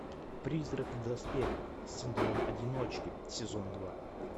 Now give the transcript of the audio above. призрак в доспехах синдром одиночки сезон два